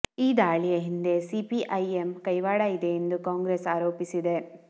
ಈ ದಾಳಿಯ ಹಿಂದೆ ಸಿಪಿಐಎಂ ಕೈವಾಡ ಇದೆ ಎಂದು ಕಾಂಗ್ರೆಸ್ ಆರೋಪಿಸಿದೆ